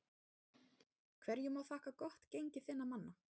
Hverju má þakka gott gengi þinna manna?